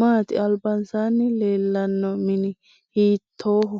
maati albasaani leelanno mini hiitooho